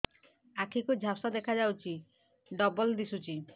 ଆଖି କୁ ଝାପ୍ସା ଦେଖାଯାଉଛି ଡବଳ ଦିଶୁଚି